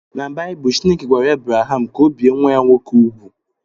Na Baịbụl, Chineke gwara Ebraham ka ọ bie nwa ya nwoke úgwù